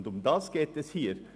Darum geht es hier: